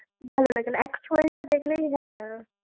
ভালো লাগে না actual টা দেখলেই হ্যাঁ।